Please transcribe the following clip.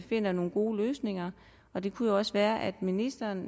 finder nogle gode løsninger det kunne jo også være at ministeren